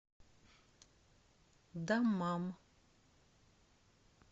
даммам